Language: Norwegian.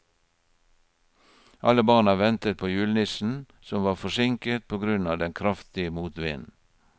Alle barna ventet på julenissen, som var forsinket på grunn av den kraftige motvinden.